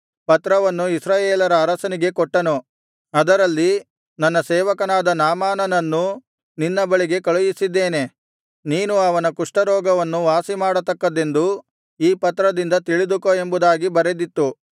ಪತ್ರವನ್ನು ಇಸ್ರಾಯೇಲರ ಅರಸನಿಗೆ ಕೊಟ್ಟನು ಅದರಲ್ಲಿ ನನ್ನ ಸೇವಕನಾದ ನಾಮಾನನನ್ನು ನಿನ್ನ ಬಳಿಗೆ ಕಳುಹಿಸಿದ್ದೇನೆ ನೀನು ಅವನ ಕುಷ್ಠರೋಗವನ್ನು ವಾಸಿಮಾಡತಕ್ಕದ್ದೆಂದು ಈ ಪತ್ರದಿಂದ ತಿಳಿದುಕೋ ಎಂಬುದಾಗಿ ಬರೆದಿತ್ತು